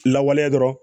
Lawaleya dɔrɔn